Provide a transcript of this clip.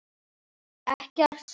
Ekkert svo.